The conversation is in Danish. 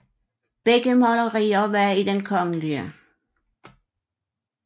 Begge malerier var i Den kgl